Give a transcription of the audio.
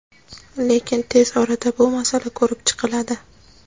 lekin tez orada bu masala ko‘rib chiqiladi.